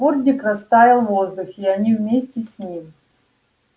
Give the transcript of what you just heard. фордик растаял в воздухе и они вместе с ним